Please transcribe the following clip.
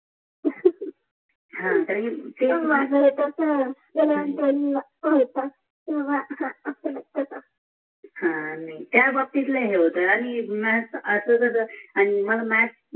त्या बाप्तीत नाही हित यार